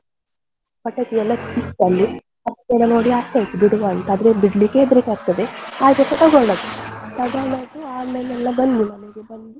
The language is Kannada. ಪಟಾಕಿಯೆಲ್ಲ ಸಿಕ್ತಲ್ಲಿ ಪಟಾಕಿಯೆಲ್ಲಾ ನೋಡಿ ಆಸೆ ಆಯ್ತು ಬಿಡುವ ಅಂತ ಆದ್ರೆ ಬಿಡ್ಲಿಕ್ಕೆ ಹೆದರ್ಕ್ಕೆ ಆಗ್ತದೆ ಆದ್ರೂಸ ತಕೊಂಡದ್ದು ತಕೊಂಡದ್ದುಆಮೇಲೆಲ್ಲಾ ಬಂದ್ವಿ ಮನೆಗೆ ಬಂದು.